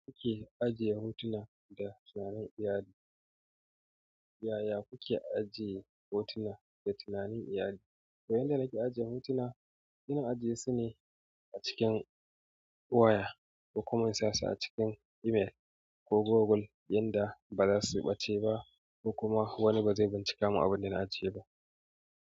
Yaya kuke ajiye hotuna da tunanin iyali? Yaya kuke ajiye hotuna da tunanin iyali? To yanda nake ajiye hotuna, ina ajiye su ne a cikin waya kokuma in sasu a cikin email ko goggle yanda bazasu ɓace ba ko wani bazai bincika min abunda na ajiye ba.